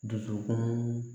Dusukun